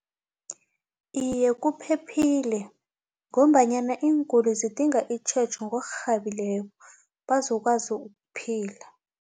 Iye, kuphephile ngombanyana iinkolo zidinga itjhejo ngokurhabileko bazokwazi ukuphila.